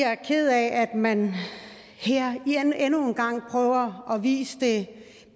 er ked af at man her endnu en gang prøver at vise et